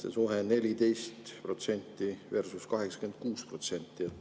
See suhe on 14% versus 86%.